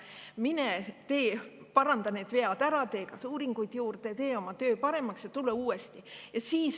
Mine paranda need vead ära, tee kas või uuringuid juurde, tee oma töö paremaks ja tule uuesti.